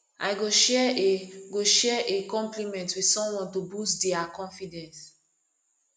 i go share a go share a compliment with someone to boost dia confidence